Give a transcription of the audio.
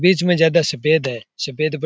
बीच मे ज्यादा सफेद है सफेद --